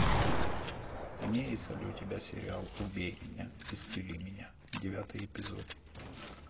имеется ли у тебя сериал убей меня исцели меня девятый эпизод